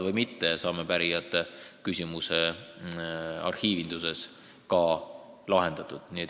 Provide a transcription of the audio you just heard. Võib-olla saame pärijate küsimuse arhiivinduses ka lahendatud.